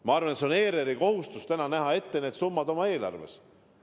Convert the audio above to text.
Ma arvan, et on ERR-i kohustus näha ette need summad oma eelarves.